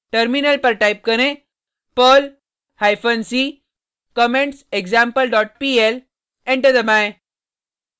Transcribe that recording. terminal पर type करें perl hyphen c commentsexample dot pl enter दबाएँ